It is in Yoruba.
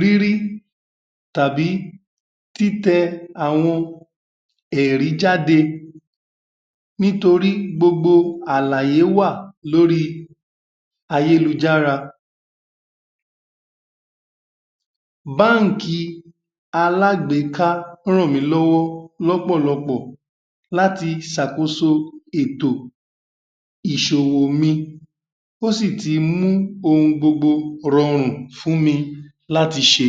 rírí tàbí títẹ àwọn ẹ̀rí jáde nítorí gbogbo àlàyé wà lóri ayélujára bánkì i alágbéká ràn mí lọ́wọ́ lọ́pọ̀lọpọ̀ láti sàkòso ètò ìsòwò mi wọ́n sì ti mú ohun gbogbo rorù fún mi láti ṣe